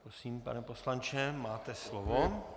Prosím, pane poslanče, máte slovo.